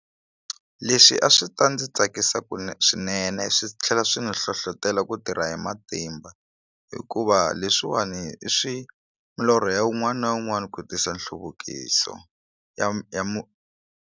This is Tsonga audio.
Leswi a swi ta ndzi tsakisa swinene swi tlhela swi ni hlohlotela ku tirha hi matimba hikuva leswiwani i swi milorho ya wun'wani na wun'wani ku tisa nhluvukiso ya ya .